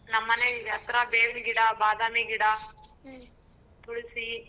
ನಮ್ಮನೆ ಹತ್ರ ಬೇವಿನ್ಗಿಡ, ಬಾದಾಮಿಗಿಡ, ತುಳಸಿ.